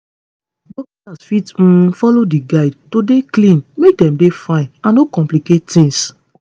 dokita's fit um follow di guide to dey clean make dem dey fine and no complicate tings